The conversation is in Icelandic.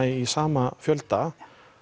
í sama fjölda